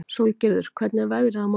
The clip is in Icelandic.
Sólgerður, hvernig er veðrið á morgun?